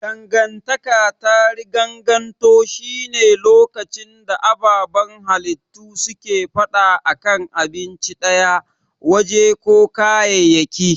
Dangantaka ta riganganto shi ne lokacin da ababan halittu suke fada a kan abinci daya, waje ko kayayyaki.